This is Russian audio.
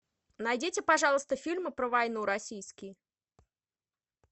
найдите пожалуйста фильмы про войну российские